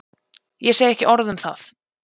Ég segi ekki orð um það.